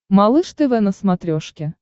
малыш тв на смотрешке